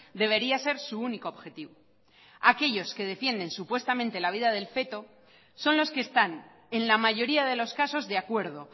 debería ser su único objetivo aquellos que defienden supuestamente la vida del feto son los que están en la mayoría de los casos de acuerdo